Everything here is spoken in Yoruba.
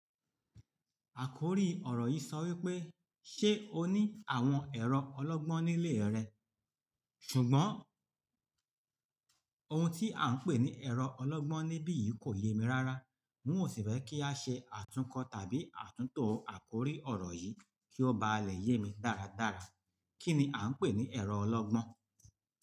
Àkòrí ọ̀rọ̀ yìí sọ wípé, "ṣé ó ní àwọn ẹ̀rọ ọlọ́gbọ́n nílé rẹ̀?" ṣùgbọ́n ohun tí à ń pè ní ẹ̀rọ ọlọ́gbọ́n níbí yìí kò yé mi rárá. N ó sì fẹ́ kí a ṣe àtúnkọ̀ tàbí àtúntò àkòrí ọ̀rọ̀ yìí kí ó bá lè yé mi dáradára. Kí ni à ń pè ní ẹ̀rọ ọlọ́gbọ́n?